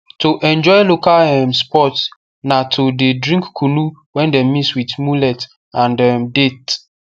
to enjoy local um sports na to the drink kunu wey dem mix with mullet and um date